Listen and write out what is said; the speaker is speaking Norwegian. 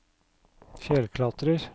fjellklatrer